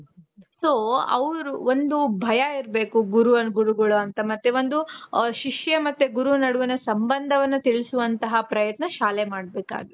so ಅವ್ರು ಒಂದು ಭಯ ಇರ್ಬೇಕು. ಗುರು, ಗುರುಗಳು ಅಂತ ಮತ್ತೆ ಒಂದು ಶಿಷ್ಯ ಮತ್ತೆ ಗುರುವಿನ ನಡುವಿನ ಸಂಭಂದವನ್ನ ತಿಳಿಸುವಂತ ಪ್ರಯತ್ನ ಶಾಲೆ ಮಾಡ್ಬೇಕಾಗಿ